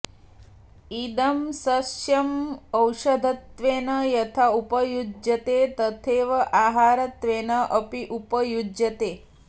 इदं सस्यम् औषधत्वेन यथा उपयुज्यते तथैव आहारत्वेन अपि उपयुज्यते